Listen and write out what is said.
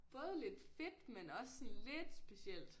Både lidt fedt men også sådan lidt specielt